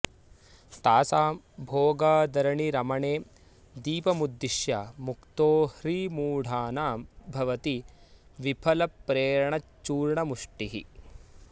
तासां भोगादरणि रमणे दीपमुद्दिश्य मुक्तो ह्रीमूढानां भवति विफलप्रेरणच्चूर्णमुष्टिः